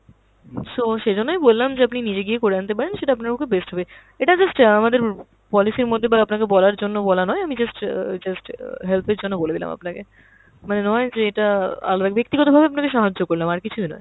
so সেই জন্যেই বললাম যে আপনি নিজে গিয়ে করে আনতে পারেন, সেটা আপনার পক্ষে best হবে। এটা just অ্যাঁ আমাদের policy এর মধ্যে বা আপনাকে বলার জন্য বলা নয়, আমি just অ্যাঁ just অ্যাঁ help এর জন্য বলে দিলাম আপনাকে। মানে নয় যে এটা আলা~ ব্যাক্তিগত ভাবে আপনাকে সাহায্য করলাম, আর কিছুই নয়।